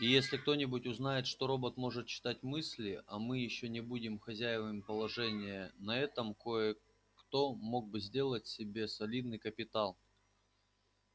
и если кто-нибудь узнает что робот может читать мысли а мы ещё не будем хозяевами положения на этом кое-кто мог бы сделать себе солидный капитал